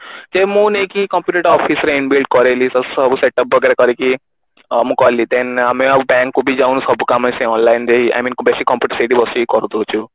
ସେ ମୁଁ ନେଇକି computer ଟା office ରେ Inbuild କରେଇଲି ସବୁ setup ବଗେରା କରିକି ଅ ମୁଁ କଲି then ଆମେ ଆଉ bank କୁ ବି ଯାଉନୁ ସବୁ କାମ ସେ online ରେ ହିଁ I mean basic computer ସେଇଠି ବସିକି ହିଁ କରି ଦଉଛୁ